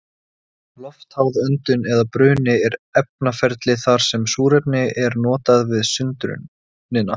Loftháð öndun eða bruni er efnaferli þar sem súrefni er notað við sundrunina.